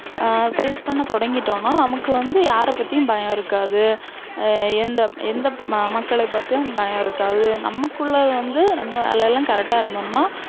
ஆஹ் face பண்ண தொடங்கிட்டோன்னா, நமக்கு வந்து யார பத்தியும் பயம் இருக்காது. உம் எந்த எந்த ம~மக்கள பத்தியும் பயம் இருக்காது. நமக்குள்ள வந்து நம்ம வேலை எல்லாம் correct ஆ இருந்தோன்னா,